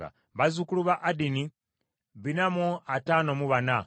bazzukulu ba Adini ebikumi bina mu ataano mu bana (454),